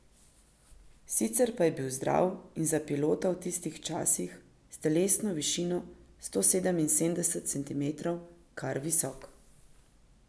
Sicer pa je bil zdrav in za pilota v tistih časih, s telesno višino sto sedeminsedemdeset centimetrov, kar visok.